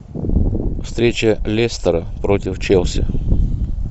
встреча лестера против челси